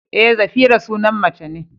Eh, Zafira sunan mace ne.